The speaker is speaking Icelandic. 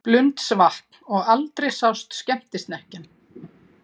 Blundsvatn og aldrei sást skemmtisnekkjan.